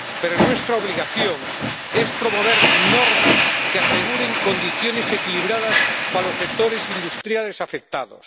Pero nuestra obligación es promover normas que aseguren condiciones equilibradas para los sectores industriales afectados